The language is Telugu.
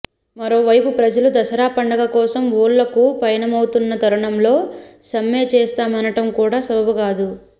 మరోవైపు ప్రజలు దసరా పండుగ కోసం ఊళ్లకు పయనమవుతున్న తరుణంలో సమ్మె చేస్తామనటం కూడా సబబు కాదు